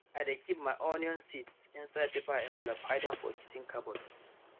i dey keep my onion seeds inside paper envelope hide am for kitchen cupboard